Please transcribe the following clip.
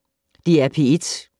DR P1